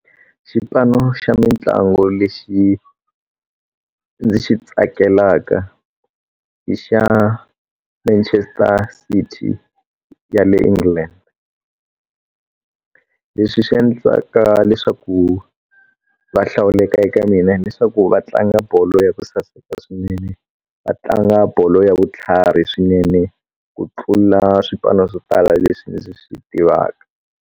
Xipano xa mintlango lexi ndzi xi tsakelaka i xa Manchester City ya le England leswi swi endlaka leswaku va hlawuleka eka mina leswaku va tlanga bolo ya ku saseka swinene va tlanga bolo ya vutlhari swinene ku tlula swipano swo tala leswi ndzi swi tivaka.